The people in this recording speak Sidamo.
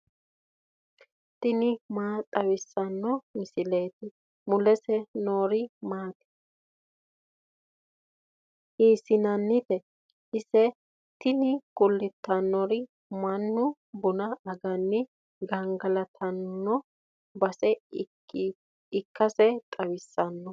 tini maa xawissanno misileeti ? mulese noori maati ? hiissinannite ise ? tini kultannori mannu buna aganni gangalatanno base ikkasi xawissanno.